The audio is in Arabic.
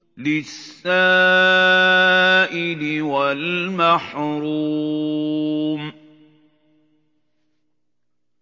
لِّلسَّائِلِ وَالْمَحْرُومِ